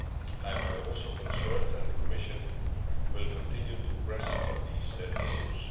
I am also concerned and the Commission will continue to press on these issues.